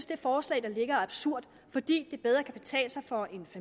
det forslag der ligger er absurd fordi det bedre kan betale sig for et